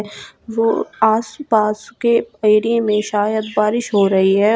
वो आसपास के एरिए में शायद बारिश हो रही है।